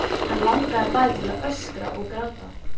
Hana langaði bæði til að öskra og gráta.